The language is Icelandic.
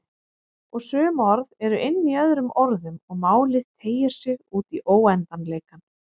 Og sum orð eru inní öðrum orðum og málið teygir sig útí óendanleikann.